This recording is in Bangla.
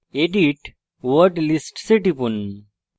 edit word lists এ টিপুন